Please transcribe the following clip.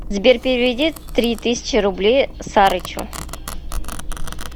сбер переведи три тысячи рублей сарычу